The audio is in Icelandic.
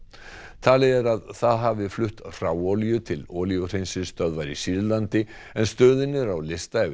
talið er að það hafi flutt hráolíu til olíuhreinsistöðvar í Sýrlandi en stöðin er á lista yfir